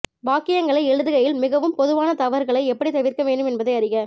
வாக்கியங்களை எழுதுகையில் மிகவும் பொதுவான தவறுகளை எப்படி தவிர்க்க வேண்டும் என்பதை அறிக